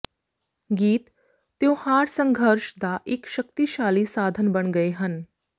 ਗੀਤ ਤਿਉਹਾਰ ਸੰਘਰਸ਼ ਦਾ ਇਕ ਸ਼ਕਤੀਸ਼ਾਲੀ ਸਾਧਨ ਬਣ ਗਏ ਹਨ